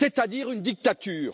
C'est à dire une dictature.